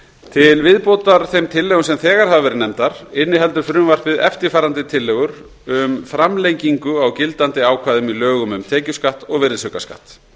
til viðbótar þeim tillögum sem þegar hafa verið nefndar inniheldur frumvarpið eftirfarandi tillögur um framlengingu á gildandi ákvæðum í lögum um tekjuskatt og virðisaukaskatt